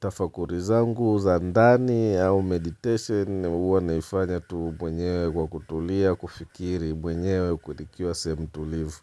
tafakari zangu za ndani au meditation huwa naifanya tu mwenyewe kwa kutulia kufikiri mwenyewe nikiwa sehemu tulivu.